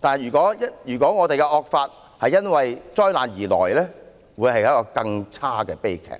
但如果本港的惡法是因災難而來，將會是一個更差的悲劇。